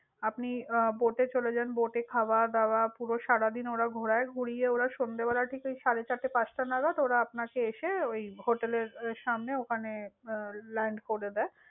আপনি আহ boat চলে যান boat খাওয়া-দাওয়া পুরো সারাদিন ওঁরা ঘোরায়। ঘুরিয়ে ওঁরা সন্ধ্যেবেলা ঠিক সাড়ে চারটে পাঁচটা নাগাদ ওরা আপনাকে এসে ওই hotel এর সামনে ওখানে আহ land করে দেয়।